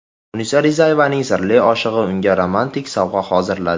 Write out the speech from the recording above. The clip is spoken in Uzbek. Munisa Rizayevaning sirli oshig‘i unga romantik sovg‘a hozirladi .